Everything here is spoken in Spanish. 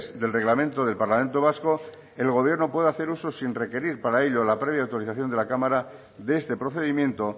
del reglamento del parlamento vasco el gobierno puede hacer uso sin requerir para ello la previa autorización de la cámara de este procedimiento